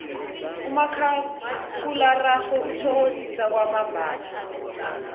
umakhakhulararhwe uthokozisa kwamambala